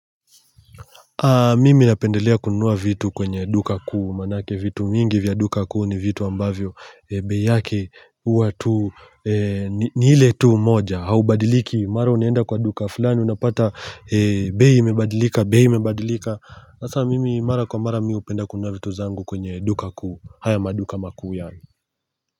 Mimi napendelea kununua vitu kwenye duka kuu manake vitu vingi vya duka kuu ni vitu ambavyo bei yake huwa tu ni iile tu moja haibadiliki mara unaenda kwa duka fulani unapata bei imebadilika bei imebadilika hasa mimi mara kwa mara mimi hupenda kununua vitu zangu kwenye duka kuu haya maduka makuu yani.